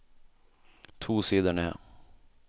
To sider ned